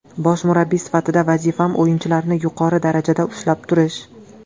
Bosh murabbiy sifatida vazifam o‘yinchilarni yuqori darajada ushlab turish.